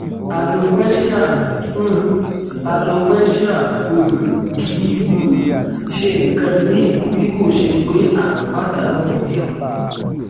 alopecia um alopecia um kì í um ṣe nǹkan míì bí kò ṣe pé a n padanu irun